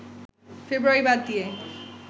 ফেব্রুয়ারি বাদ দিয়ে